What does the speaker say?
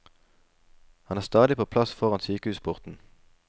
Han er stadig på plass foran sykehusporten.